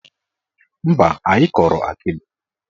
Mba, anyị kọrọ akịdị.